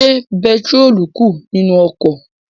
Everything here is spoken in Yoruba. Ṣé bẹntiróòlù kù nínu ọkọ̀?